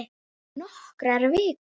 Nokkrar vikur!